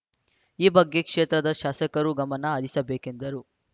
ಈ ಬಗ್ಗೆ ಕ್ಷೇತ್ರದ ಶಾಸಕರೂ ಗಮನ ಹರಿಸಬೇಕೆಂದರು